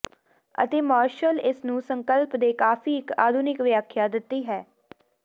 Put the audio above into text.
ਅਤੇ ਮਾਰਸ਼ਲ ਇਸ ਨੂੰ ਸੰਕਲਪ ਦੇ ਕਾਫ਼ੀ ਇੱਕ ਆਧੁਨਿਕ ਵਿਆਖਿਆ ਦਿੱਤੀ ਹੈ